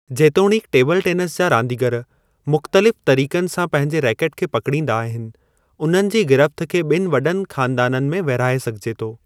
जेतोणीकि table tennis जा रांदीगरु मुख़्तलिफ़ तरीक़नि सां पंहिंजे रैकट खे पकिड़ींदा आहिनि उन्हनि जी गिरफ़्त खे ॿनि वॾनि ख़ानदाननि में विरहाई सघिजे थो।